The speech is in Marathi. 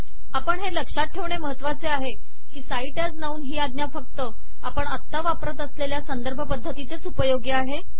आपण हे लक्ष्यात ठेवणे म्हत्वाचे आहे हि cite as नाउन हि आज्ञा फक्त आपण आता वापरत असलेल्या संदर्भ पद्धतीतच उपयोगी आहे